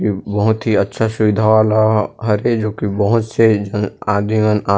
य बहुत ही अच्छा सुविधा वाला हरे जो की बोहोत से जन आदमी मन आ--